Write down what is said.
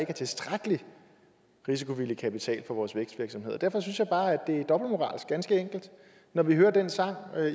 er tilstrækkelig risikovillig kapital til vores vækstvirksomheder derfor synes jeg bare at det er dobbeltmoralsk ganske enkelt når vi hører den sang